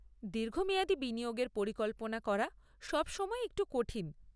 দীর্ঘমেয়াদি বিনিয়োগের পরিকল্পনা করা সবসময়ই একটু কঠিন।